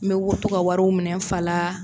N bɛ wo to ka wariw minɛn n fa la